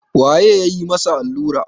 waye ya yi masa allura